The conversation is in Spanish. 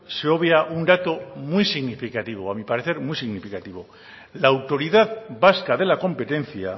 se obvia un dato muy significativo a mi parecer muy significativo la autoridad vasca de la competencia